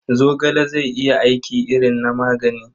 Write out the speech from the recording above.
Zogale zai iya aiki irin na magani.